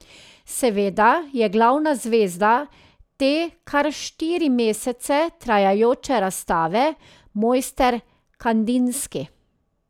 Seveda je glavna zvezda te kar štiri mesece trajajoče razstave mojster Kandinski.